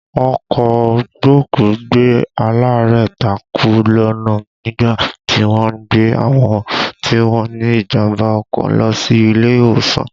Ọkọ̀ gbókùú-gbé-alaarẹ̀ takú lọ́nà nígbà tí wọ́n ń gbé àwọn tí wọ́n ní ìjàmbá ọkọ̀ lọ sí ilé ìwòsàn